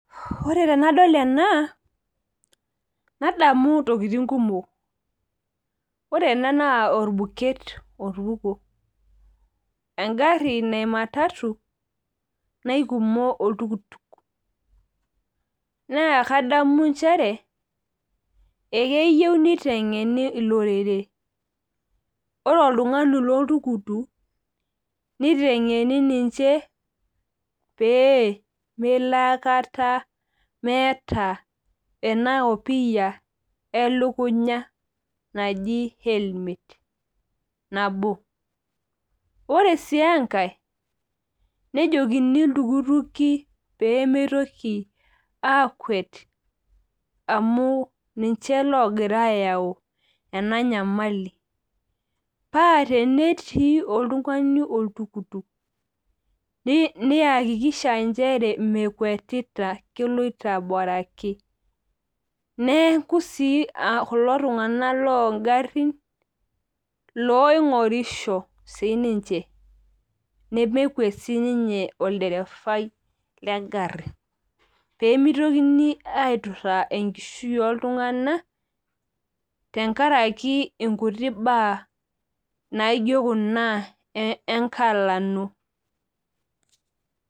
Ore tenadol ena, nadamu intokiting kumok. Ore ena naa orbuket otupukuo. Egarri naa ematatu naikumo oltukutuk. Naa kadamu njere, ekeyieu niteng'eni olorere. Ore oltung'ani loltukutuk, niteng'eni ninche pee melo akata meeta ena opiyia elukunya naji helmet. Nabo, ore si enkae, nejokini iltukutuki pemeitoki akuet amu ninche logira ayau ena nyamali. Pa tenetii oltung'ani oltukutuk, niakikisha njere mekuetita keloito abaraki. Neeku si kulo tung'anak logarrin loing'orisho sininche. Nemekuet sininye olderefai legarri. Pemitokini aiturraa enkishui oltung'ani, tenkaraki inkuti baa naijo kuna enkalano.